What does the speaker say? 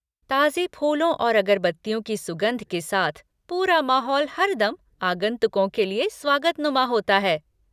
ताज़े फूलों और अगरबत्तियों की सुगंध के साथ पूरा माहौल हरदम आगंतुकों के लिए स्वागतनुमा होता है।